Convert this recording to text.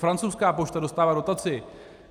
Francouzská pošta dostává dotaci.